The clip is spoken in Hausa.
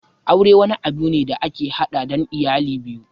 Aure wani abu ne da yake haɗa ɗan iyali biyu